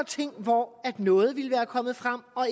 ting hvor noget ville være kommet frem og